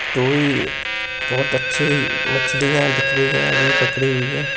तो ये बहुत अच्छे मछलियां दिख रही हैअभी पकड़ी हुई है।